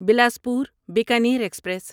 Bilaspur Bikaner express